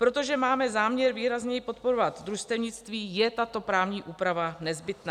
Protože máme záměr výrazněji podporovat družstevnictví, je tato právní úprava nezbytná.